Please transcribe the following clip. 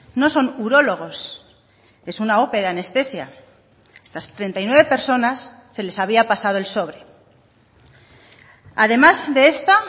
no son urólogos es una ope de anestesia a estas treinta y nueve personas se les había pasado el sobre además de esta